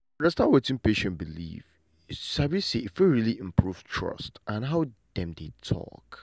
to understand wetin patient believe you sabi say e fit really improve trust and how dem dey talk.